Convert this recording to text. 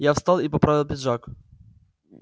я встал и поправил пиджак